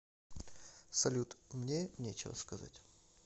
салют мне нечего сказать